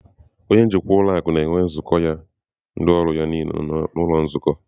Onye njikwa ụlọ akụ na-enwe nzukọ ya na ndị ọrụ ya niile n'ụlọ nzukọ.